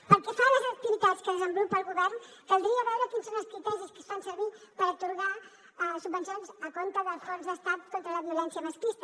pel que fa a les activitats que desenvolupa el govern caldria veure quins són els criteris que es fan servir per atorgar subvencions a compte del fons d’estat contra la violència masclista